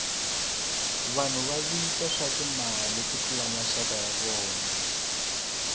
vanhu va tiva swa timali ku tlula maxaka ya vona